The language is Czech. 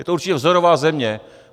Je to určitě vzorová země.